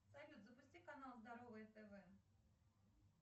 салют запусти канал здоровое тв